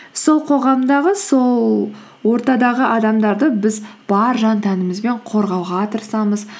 сол қоғамдағы сол ортадағы адамдарды біз бар жан тәңімізбен қорғауға тырысамыз